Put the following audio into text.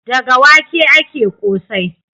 Daga wake ake ƙosai.